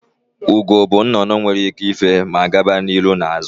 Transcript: Ugo bụ naanị nnụnụ nwere ike ife ma gawa n'ihu na azụ